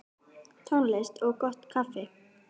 Tónlist og gott kaffi.